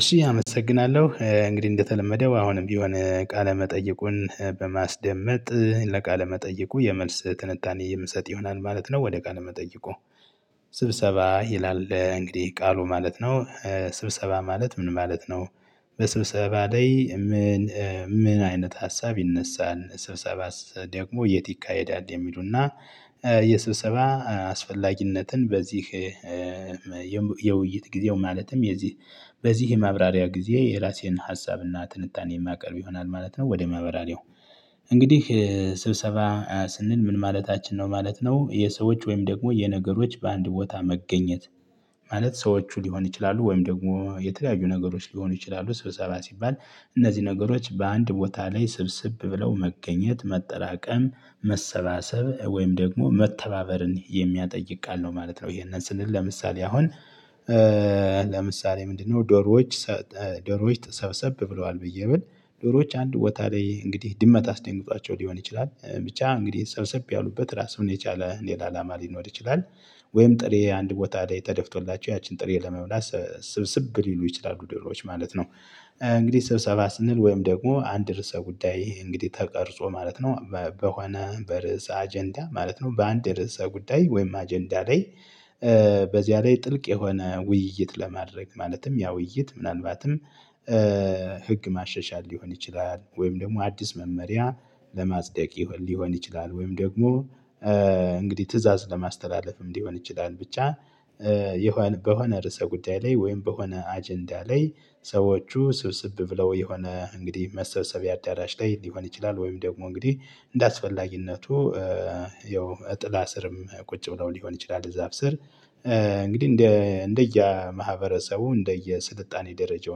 እሺ አመሰግናለሁ እንግዲህ እንደተለመደው አሁንም ቢሆን ቃለ መጠይቁን በማስደመጥ ለቃለ መጠይቁ የመልስ ትንታኔ የምሰጥ ይሆናል ማለት ነው። ወደ ቃል መጠየቁ። ስብሰባ ይላል እንግዲህ ቃሉ ማለት ነው። ስብሰባ ማለት ምን ማለት ነው? በስብሰባ ላይ ምን ምን አይነት ሀሳብ ይነሳል ስብሰባስ ደግሞ የት ይካሄዳል የሚሉና። የስብሰባ አስፈላጊነትን በዚህ የውይይት ጊዜው ማለትም የዚህ በዚህ ማብራሪያ ጊዜ የራሴን ሀሳብና ትንታኔ የማቀርብ ይሆናል ማለት ነው። ወደ ማብራሪያው። እንግዲህ ስብሰባ ስንል ምን ማለታችን ነው ማለት ነው። የሰዎች ወይም ደግሞ የነገሮች በአንድ ቦታ መገኘት። ማለት ሰዎች ሊሆን ይችላሉ ወይም ደግሞ የተለያዩ ነገሮች ሊሆኑ ይችላሉ ስብሰባ ሲባል እነዚህ ነገሮች በአንድ ቦታ ላይ ስብስብ ብለው መገኘት መጠራቀም መሰባሰብ ወይም ደግሞ መተባበርን የሚያጠይቅ ቃል ነው። ማለት ነው። ይሄንን ስንል ለምሳሌ አሁን ለምሳሌ ምንድነው? ዶሮዎች ዶሮዎች ተሰ ሰብሰብ ብለዋል ብዬ ብል ዶሮዎች አንድ ቦታ ላይ እንግዲህ ድመት አስደንግጧቸው ሊሆን ይችላል ብቻ እንግዲህ ሰብሰብ ያሉበት ራሱን የቻለ ሌላ አላማ ሊኖር ይችላል። ወይም ጥሬ አንድ ቦታ ላይ ተደፍቶላቸው ያችን ጥሬ ለመብላት ስብስብ ሊሉ ይችላሉ ድሮዎች ማለት ነው። እንግዲህ ስብሰባ ስንል ወይም ደግሞ አንድ ርዕሰ ጉዳይ እንግዲህ ተቀርጾ ማለት ነው። በሆነ በርዕሰ አጀንዳ ማለት ነው በአንድ ርዕሰ ጉዳይ ወይም አጀንዳ ላይ። በዚያ ላይ ጥልቅ የሆነ ውይይት ለማድረግ ማለትም ያ ውይይት ምናልባትም ህግ ማሻሻል ሊሆን ይችላል። ወይም ደግሞ አዲስ መመሪያ ለማጽደቅ ሊሆን ይችላል። ወይም ደግሞ እንግዲህ ትእዛዝ ለማስተላለፍም ሊሆን ይችላል። ብቻ። በሆነ ርዕሰ ጉዳይ ላይ ወይም በሆነ አጀንዳ ላይ። ሰዎቹ ስብስብ ብለው የሆነ እንግዲህ መሰብሰቢያ አዳራሽ ላይ ሊሆን ይችላል። ወይም ደግሞ እንግዲህ እንደ አስፈላጊነቱ ያው ጥላ ስርም ቁጭ ብለው ሊሆን ይችላል እዛፍ ስር። እንግዲህ እንደ እንደየ ማህበረሰቡ እንደየ ስልጣኔ ደረጃው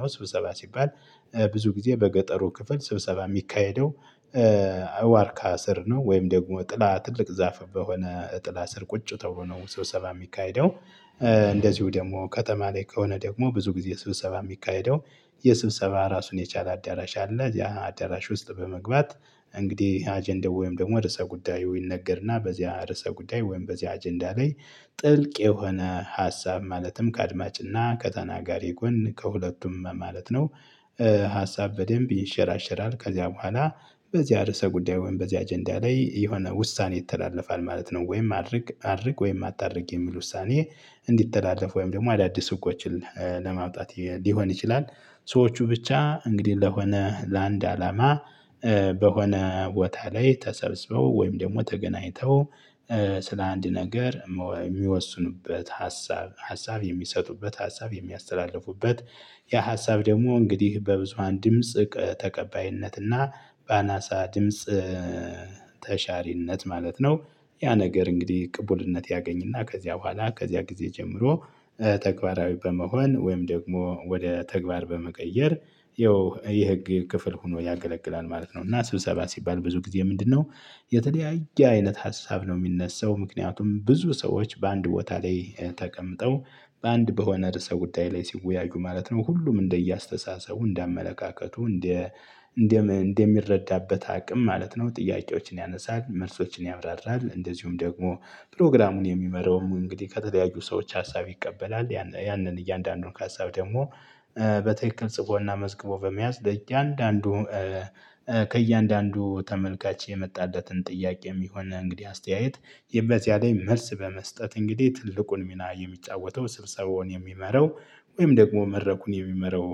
ነው። ስብሰባ ሲባል ብዙ ጊዜ በገጠሩ ክፍል ስብሰባ የሚካሄደው። ዋርካ ስር ነው ወይም ደግሞ ጥላ ትልቅ ዛፍ በሆነ ጥላ ስር ቁጭ ተብሎ ነው። ሰው ስብሰባ የሚካሄደው። እንደዚሁ ደግሞ ከተማ ላይ ከሆነ ደግሞ ብዙ ጊዜ ስብሰባ የሚካሄደው የስብሰባ ራሱን የቻለ አዳራሽ አለ። እዚያ አዳራሽ ውስጥ በመግባት እንግዲህ አጀንዳ ወይም ደግሞ ርዕሰ ጉዳዩ ይነገርና በዚያ ርዕሰ ጉዳይ ወይም በዚያ አጀንዳ ላይ ጥልቅ የሆነ ሀሳብ ማለትም ከአድማጭና ከተናጋሪ ጎን ከሁለቱም ማለት ነው። ሀሳብ በደንብ ይንሸራሸራል ከዚያ በኋላ በዚህ ርዕሰ ጉዳይ ወይም በዚህ አጀንዳ ላይ የሆነ ውሳኔ ይተላለፋል ማለት ነው። ወይም አድርግ አድርግ ወይም አታድርግ የሚል ውሳኔ እንዲተላለፍ ወይም ደግሞ አዳዲስ ህጎችን ለማውጣት ሊሆን ይችላል። ሰዎቹ ብቻ እንግዲህ ለሆነ ለአንድ አላማ። በሆነ ቦታ ላይ ተሰብስበው ወይም ደግሞ ተገናኝተው። ስለ አንድ ነገር የሚወስኑበት ሀሳብ ሀሳብ የሚሰጡበት ሀሳብ የሚያስተላልፉበት ያ ሀሳብ ደግሞ እንግዲህ በብዙሃን ድምጽ ተቀባይነትና በአናሳ ድምጽ ተሻሪነት ማለት ነው። ያ ነገር እንግዲህ ቅቡልነት ያገኝና ከዚያ በኋላ ከዚያ ጊዜ ጀምሮ ተግባራዊ በመሆን ወይም ደግሞ ወደ ተግባር በመቀየር ያው የህግ ክፍል ሆኖ ያገለግላል ማለት ነው። እና ስብሰባ ሲባል ብዙ ጊዜ ምንድነው? የተለያየ አይነት ሀሳብ ነው የሚነሳው ምክንያቱም ብዙ ሰዎች በአንድ ቦታ ላይ ተቀምጠው በአንድ በሆነ ርዕሰ ጉዳይ ላይ ሲወያዩ ማለት ነው። ሁሉም እንደየ አስተሳሰቡ እንደ አመለካከቱ እንደ እንደ እንደሚረዳበት አቅም ማለት ነው። ጥያቄዎችን ያነሳል መልሶችን ያብራራል እንደዚሁም ደግሞ ፕሮግራሙን የሚመራውም እንግዲህ ከተለያዩ ሰዎች ሀሳብ ይቀበላል ያንን እያንዳንዱን ሀሳብ ደግሞ በትክክል ጽፎና መዝግቦ በመያዝ ለእያንዳንዱ ከእያንዳንዱ ተመልካች የመጣለትን ጥያቄም ይሁን እንግዲህ አስተያየት በዚያ ላይ መልስ በመስጠት እንግዲህ ትልቁን ሚና የሚጫወተው ስብሰባውን የሚመራው ወይም ደግሞ መደረኩን የሚመራው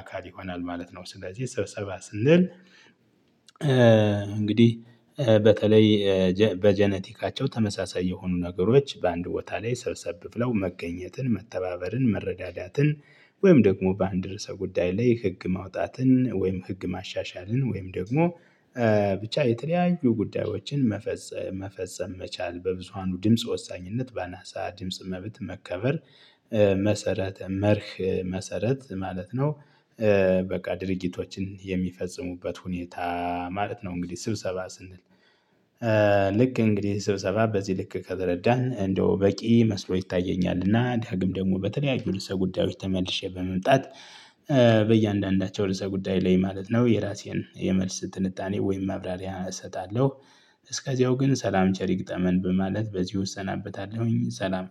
አካል ይሆናል ማለት ነው። ስለዚህ ስብሰባ ስንል። እንግዲህ በተለይ በጄኔቲካቸው ተመሳሳይ የሆኑ ነገሮች በአንድ ቦታ ላይ ሰብሰብ ብለው መገኘትን መተባበርን መረዳዳትን። ወይም ደግሞ በአንድ ርዕሰ ጉዳይ ላይ ህግ ማውጣትን ወይም ህግ ማሻሻልን ወይም ደግሞ ብቻ የተለያዩ ጉዳዮችን መፈጸ መፈጸም መቻል በብዙሃኑ ድምጽ ወሳኝነት በአናሳ ድምጽ መብት መከበር መሰረት መርህ መሰረት ማለት ነው። በቃ ድርጊቶችን የሚፈጽሙበት ሁኔታ ማለት ነው። እንግዲህ ስብሰባ ስንል። ልክ እንግዲህ ስብሰባ በዚህ ልክ ከተረዳን እንደው በቂ መስሎ ይታየኛልና። ዳግም ደግሞ በተለያዩ ርዕሰ ጉዳዮች ተመልሼ በመምጣት በእያንዳንዳቸው ርዕሰ ጉዳይ ላይ ማለት ነው የራሴን የመልስ ትንታኔ ወይም ማብራሪያ እሰጣለሁ። እስከዚያው ግን ሰላም ቸሪ ይግጠመን በማለት በዚህ እሰናበታለሁኝ። ሰላም